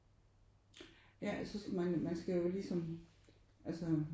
Ja jeg synes man man skal jo ligesom altså